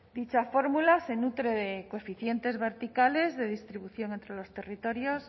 dicha fórmula se nutre de coeficientes verticales de distribución entre los territorios